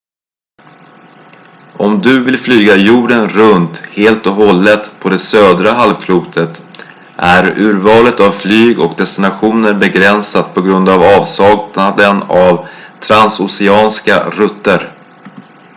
om du vill flyga jorden runt helt och hållet på det södra halvklotet är urvalet av flyg och destinationer begränsat på grund av avsaknaden av transoceanska rutter